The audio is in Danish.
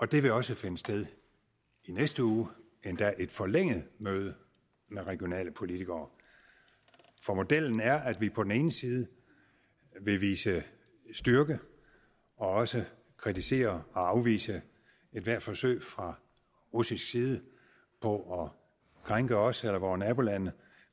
det vil også finde sted i næste uge endda et forlænget møde med regionale politikere for modellen er at vi på den ene side vil vise styrke og også kritisere og afvise ethvert forsøg fra russisk side på at krænke os eller vore nabolande